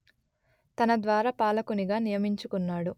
తన ద్వారపాలకునిగా నియమించుకున్నాడు